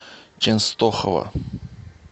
ченстохова